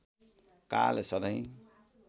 काल सधैँ